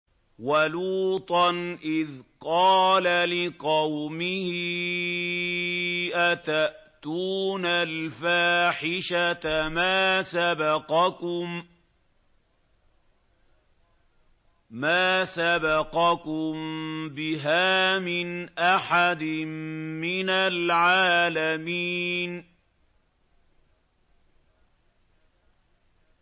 وَلُوطًا إِذْ قَالَ لِقَوْمِهِ أَتَأْتُونَ الْفَاحِشَةَ مَا سَبَقَكُم بِهَا مِنْ أَحَدٍ مِّنَ الْعَالَمِينَ